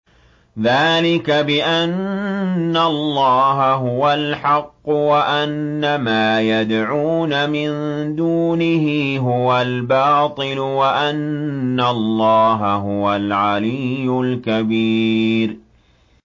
ذَٰلِكَ بِأَنَّ اللَّهَ هُوَ الْحَقُّ وَأَنَّ مَا يَدْعُونَ مِن دُونِهِ هُوَ الْبَاطِلُ وَأَنَّ اللَّهَ هُوَ الْعَلِيُّ الْكَبِيرُ